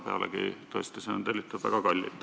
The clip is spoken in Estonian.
Pealegi on see tõesti väga kallis tellimus.